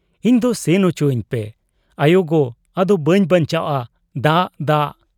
ᱤᱧᱫᱚ ᱥᱮᱱ ᱚᱪᱚᱣᱟᱹᱧ ᱯᱮ ᱾ ᱟᱭᱚᱜᱚ ! ᱟᱫᱚ ᱵᱟᱹᱧ ᱵᱟᱧᱪᱟᱣᱜ ᱟ ᱾ ᱫᱟᱜ, ᱫᱟᱜ ᱾'